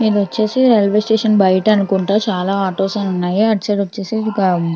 ఇది వచ్చేసి railway station ఇది వచ్చేసి రైల్వే స్టేషన్ బయటకు అనుకుంటా చాలా ఆటోస్ ఉన్నాయి అటు సైడ్ వచ్చేసి.